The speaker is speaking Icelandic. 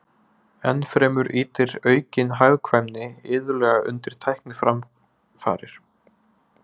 Ennfremur ýtir aukin hagkvæmni iðulega undir tækniframfarir.